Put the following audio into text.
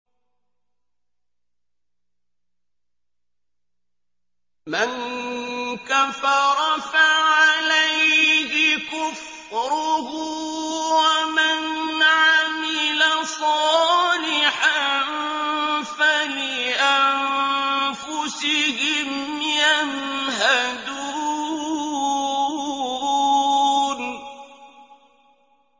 مَن كَفَرَ فَعَلَيْهِ كُفْرُهُ ۖ وَمَنْ عَمِلَ صَالِحًا فَلِأَنفُسِهِمْ يَمْهَدُونَ